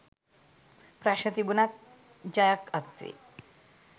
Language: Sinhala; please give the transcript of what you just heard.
ප්‍රශ්න තිබුණත් ජයක්‌ අත්වේ